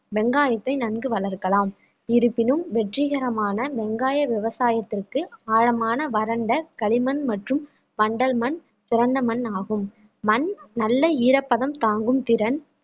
வெங்காயத்தை நன்கு வளர்க்கலாம் இருப்பினும் வெற்றிகரமான வெங்காய விவசாயத்திற்கு ஆழமான வறண்ட களிமண் மற்றும் வண்டல் மண் சிறந்த மண் ஆகும் மண் நல்ல ஈரப்பதம் தாங்கும் திறன்